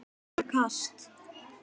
Fyrsta kast